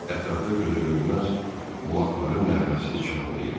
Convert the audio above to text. Ətrafda gözə görünməz bulaqların nəğməsi çağlayırdı.